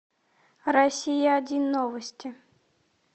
россия один новости